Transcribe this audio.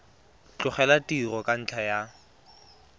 tlogela tiro ka ntlha ya